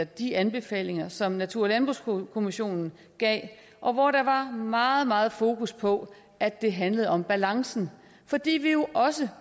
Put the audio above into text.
de anbefalinger som natur og landbrugskommissionen gav og hvor der var meget meget fokus på at det handlede om balancen fordi vi jo også